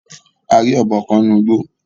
A ri ọbọ kan ninu igbo.